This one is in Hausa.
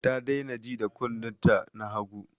Ta daina ji da kunnen ta na hagu